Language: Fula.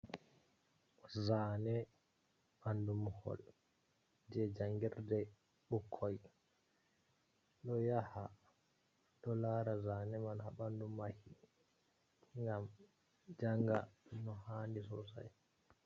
Zaane ɓandu muhol je jangirde. Ɓukkoi ɗo yaha ɗo laara zane man haa ɓandu mahi, ngam janga no haandi sosai.